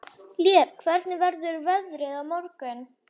Lér, hvernig verður veðrið á morgun?